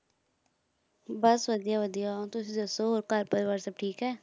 ਬਸ ਵਧੀਆ ਵਧੀਆ, ਤੁਸੀਂ ਦੱਸ ਹੋਰ ਘਰ ਪਰਿਵਾਰ ਸਭ ਠੀਕ ਹੈ?